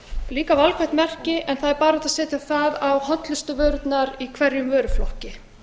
líka valkvætt merki en það er bara hægt að setja á það á hollustuvörurnar í hverjum vöruflokki